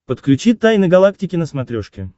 подключи тайны галактики на смотрешке